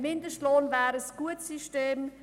Ein Mindestlohn wäre ein gutes System.